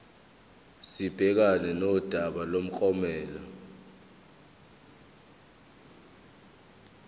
sibhekane nodaba lomklomelo